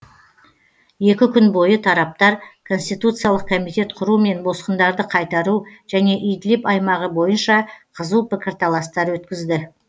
екі күн бойы тараптар конституциялық комитет құру мен босқындарды қайтару және идлиб аймағы бойынша қызу пікірталастар өткізді